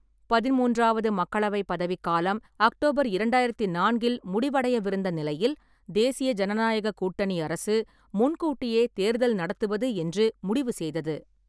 பதிமூன்றாவது மக்களவை பதவிக்காலம் அக்டோபர் இரண்டாயிரத்து நான்கில் முடிவடையவிருந்த நிலையில், தேசிய ஜனநாயகக் கூட்டணி அரசு முன்கூட்டியே தேர்தல் நடத்துவது என்று முடிவு செய்தது.